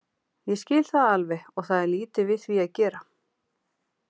Ég skil það alveg og það er lítið við því að gera.